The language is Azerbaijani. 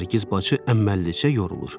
Nərgiz bacı əməlllicə yorulur.